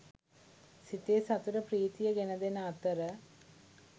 සිතේ සතුට ප්‍රීතිය ගෙන දෙන අතර